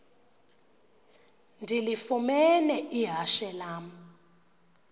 ndilifumene ihashe lam